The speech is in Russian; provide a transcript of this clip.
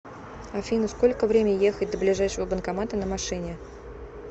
афина сколько время ехать до ближайшего банкомата на машине